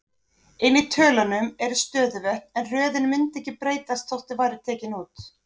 Inni í tölunum eru stöðuvötn, en röðin mundi ekki breytast þótt þau væru tekin út.